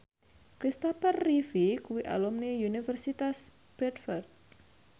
Christopher Reeve kuwi alumni Universitas Bradford